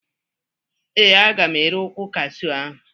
Ee, aga m ere ukwu Kashu ahụ.